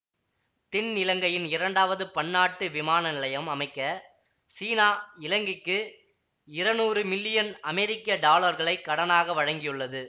தென்னிலங்கையின் இரண்டாவது பன்னாட்டு விமான நிலையம் அமைக்க சீனா இலங்கைக்கு இரநூறு மில்லியன் அமெரிக்க டொலர்களைக் கடனாக வழங்கவுள்ளது